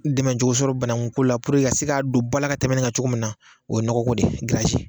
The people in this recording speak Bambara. Dɛmɛcogo sɔrɔ banaku ko la ka se k'a don bala ka tɛmɛ nin ka cogo min na, o ye nɔgɔ ko de ye